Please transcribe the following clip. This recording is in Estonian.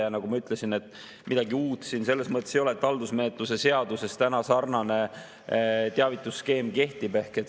Ja nagu ma ütlesin, midagi uut siin selles mõttes ei ole, et haldusmenetluse seaduses täna sarnane teavitusskeem kehtib.